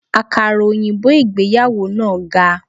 Àkàrà òyìnbó ìgbéyàwó náà ga.